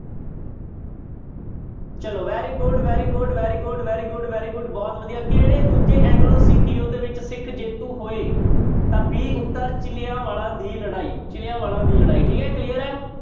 ਚਲੋ very good, very good, very good, very good, very good ਬਹੁਤ ਵਧੀਆ ਕਿਹੜੇ ਦੂਜੇ ਐਗਲੋ ਸਿੱਖ ਯੁੱਧ ਵਿੱਚ ਸਿੱਖ ਜੇਤੂ ਹੋਏ ਤਾਂ b ਉੱਤਰ ਚਿਲਿਆਂ ਵਾਲਾ ਦੀ ਲੜਾਈ, ਚਿਲਿਆਂ ਵਾਲਾ ਦੀ ਲੜਾਈ ਠੀਕ ਹੈ clear ਹੈ।